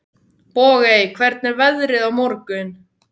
Bogey, hvernig er veðrið á morgun?